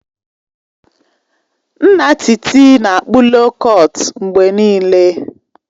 Nna Titi na-akpụ loo kọtụ mgbe niile